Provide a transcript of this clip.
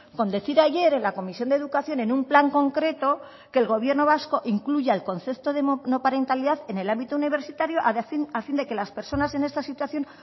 con decir ayer en la comisión de educación en un plan concreto que el gobierno vasco incluya el concepto de monoparentalidad en el ámbito universitario a fin de que las personas en esta situación